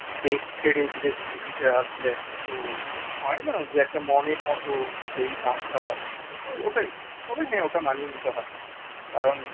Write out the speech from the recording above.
দেশ ছেড়ে বিদেশ বিভুঁই তে আসলে একটা তো হয় না যে একটা মনের মত সেই দাম টা পাচ্ছি না তো ওটাই তবে হ্যাঁ ওটা মানিয়ে নিতে হয় কারণ